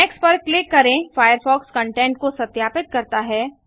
next पर click करें Firefox content को सत्यापित करता है